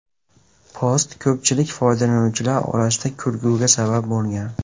Post ko‘pchilik foydalanuvchilar orasida kulgiga sabab bo‘lgan.